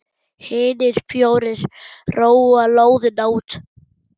Hinir fjórir róa lóðina út.